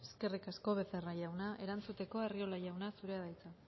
eskerrik asko becerra jauna erantzuteko arriola jauna zurea da hitza